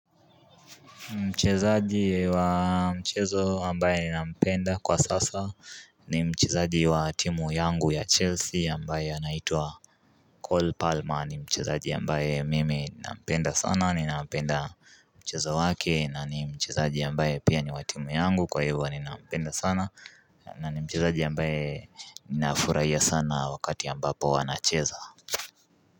Mchezaji wa mchezo ambaye ni nampenda kwa sasa ni mchezaji wa timu yangu ya Chelsea ambaye anaitwa Cole Palmer ni mchezaji ambaye mimi nampenda sana ninapenda mchezo wake na nimchezaji ambaye pia niwa timu yangu kwa hivyo ninampenda sana na ni mchezaji ambaye ninafurahia sana wakati ambapo anacheza.